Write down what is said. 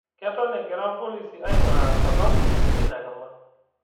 Keton egira ilpolisi aing'uraa sababu eina kima